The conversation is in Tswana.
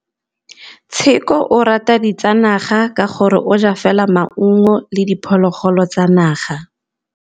Tshekô o rata ditsanaga ka gore o ja fela maungo le diphologolo tsa naga.